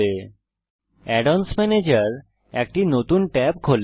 add অন্স ম্যানেজের একটি নতুন ট্যাবে খোলে